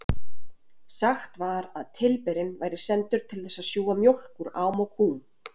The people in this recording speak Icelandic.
Sagt var að tilberinn væri sendur til þess að sjúga mjólk úr ám og kúm.